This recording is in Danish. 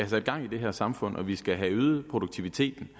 sat gang i det her samfund og vi skal have øget produktiviteten